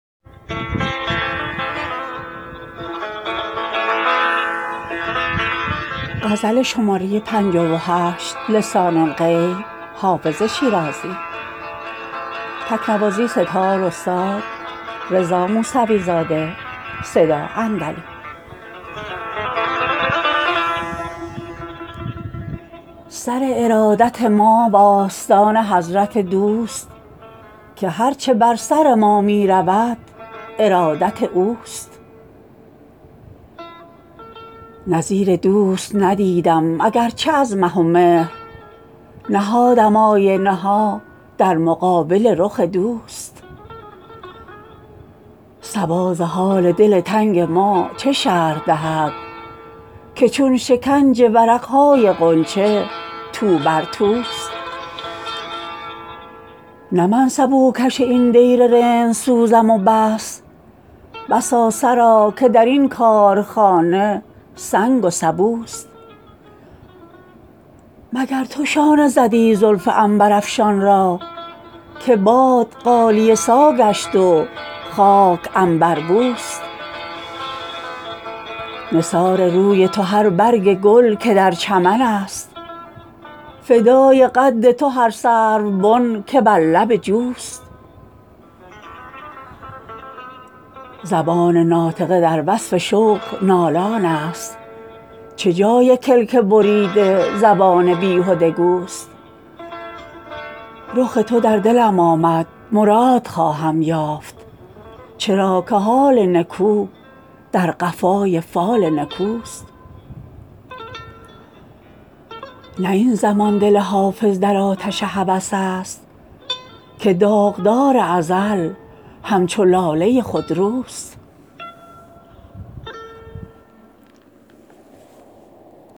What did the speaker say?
سر ارادت ما و آستان حضرت دوست که هر چه بر سر ما می رود ارادت اوست نظیر دوست ندیدم اگر چه از مه و مهر نهادم آینه ها در مقابل رخ دوست صبا ز حال دل تنگ ما چه شرح دهد که چون شکنج ورق های غنچه تو بر توست نه من سبوکش این دیر رندسوزم و بس بسا سرا که در این کارخانه سنگ و سبوست مگر تو شانه زدی زلف عنبرافشان را که باد غالیه سا گشت و خاک عنبربوست نثار روی تو هر برگ گل که در چمن است فدای قد تو هر سروبن که بر لب جوست زبان ناطقه در وصف شوق نالان است چه جای کلک بریده زبان بیهده گوست رخ تو در دلم آمد مراد خواهم یافت چرا که حال نکو در قفای فال نکوست نه این زمان دل حافظ در آتش هوس است که داغدار ازل همچو لاله خودروست